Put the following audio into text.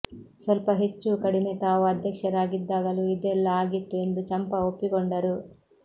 ಸ್ವಲ್ಪ ಹೆಚ್ಚೂ ಕಡಿಮೆ ತಾವು ಅಧ್ಯಕ್ಷರಾಗಿದ್ದಾಗಲೂ ಇದೆಲ್ಲ ಆಗಿತ್ತು ಎಂದು ಚಂಪಾ ಒಪ್ಪಿಕೊಂಡರು